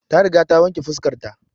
Ta riga ta wanke fuskar ta